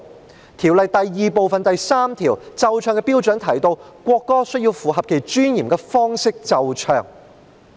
《國歌條例草案》第2部第3條"奏唱的標準"提到，國歌須以符合其尊嚴的方式奏唱。